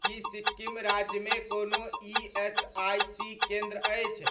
की सिक्किम राज्यमे कोनो ईएसआइसी केन्द्र अछि,